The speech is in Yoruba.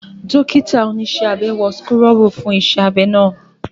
Dókítà oníṣẹ́ abẹ wọ súkúrọ́bù fún iṣẹ́ abẹ́ ná